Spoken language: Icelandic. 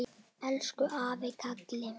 Elsku afi Kalli.